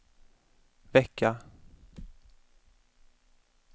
vecka